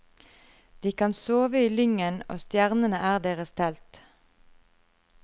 De kan sove i lyngen, og stjernene er deres telt.